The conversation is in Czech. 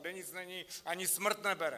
Kde nic není, ani smrt nebere.